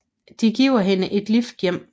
De giver hende et lift hjem